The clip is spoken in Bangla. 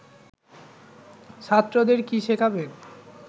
ছাত্রদের কী শেখাবেন